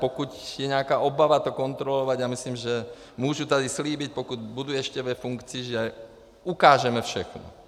Pokud je nějaká obava to kontrolovat, já myslím, že můžu tady slíbit, pokud budu ještě ve funkci, že ukážeme všechno.